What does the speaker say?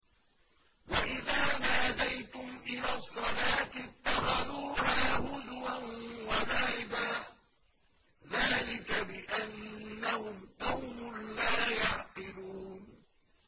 وَإِذَا نَادَيْتُمْ إِلَى الصَّلَاةِ اتَّخَذُوهَا هُزُوًا وَلَعِبًا ۚ ذَٰلِكَ بِأَنَّهُمْ قَوْمٌ لَّا يَعْقِلُونَ